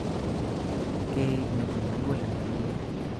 Keik neti'nye muguleldo nemie